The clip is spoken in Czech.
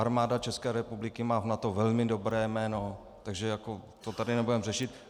Armáda České republiky má v NATO velmi dobré jméno, takže to tady nebudeme řešit.